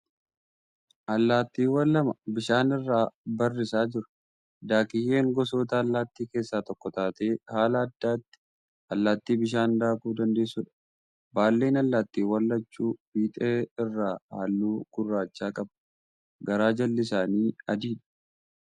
Allaattiiwwan lama bishaan irra barrisaa jiru . Daakiyyeen gosoota allaattii keessa tokko taatee haala addaatti allaattii bishaan daakuu dandeessudha . Baalleen allaattiiwwan lachuu fiixee irraa halluu gurraacha qaba. Garaa jalli isaanii adiidha.